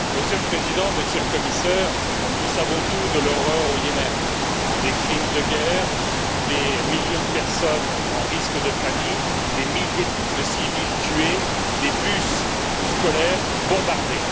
Monsieur le Président, Monsieur le Commissaire, nous savons tout de l'horreur au Yémen des crimes de guerre, des millions de personnes en risque de famine, des milliers de civils tués, des bus scolaires bombardés.